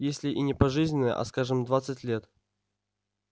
если и не пожизненное а скажем двадцать лет